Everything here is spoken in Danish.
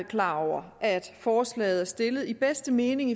klar over at forslaget er stillet i bedste mening